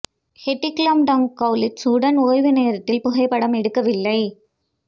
Haiti Klum Tom Kaulitz உடன் ஓய்வு நேரத்தில் புகைப்படம் எடுக்கவில்லை